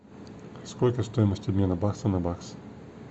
сколько стоимость обмена бакса на бакс